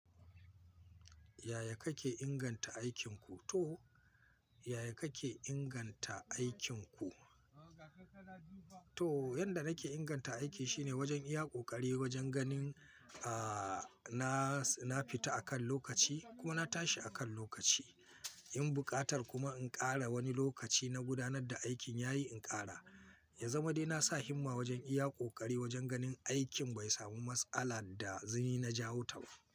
Yaya kake inganta aikinku to? Yaya kake inganta aikinku? To, yanda nake inganta aiki shine wajen iya ƙoƙari wajen ganin, ah, na, na fita akan lokaci ko na tashi akan lokaci. In buƙatar kuma in ƙara wani lokaci na gudanar da aikin yayi in ƙara. Ya zama dai nasa himma wajen iya ƙoƙari wajen ganin aikin bai samu matsala da zuni na jawo ta ba.